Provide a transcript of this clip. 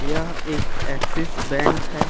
यह एक Axis Bank है।